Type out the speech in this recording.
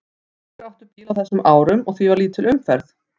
Fáir áttu bíla á þessum árum og því var lítil umferð.